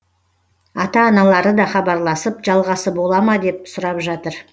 ата аналары да хабарласып жалғасы бола ма деп сұрап жатыр